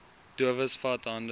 dowes vat hande